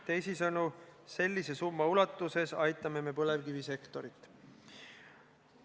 Teisisõnu, sellise summa ulatuses me aitame põlevkivisektorit.